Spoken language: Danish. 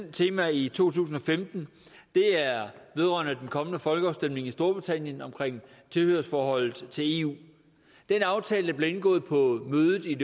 tema i to tusind og femten er vedrørende den kommende folkeafstemning i storbritannien omkring tilhørsforholdet til eu den aftale der blev indgået på mødet i